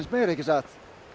meira ekki satt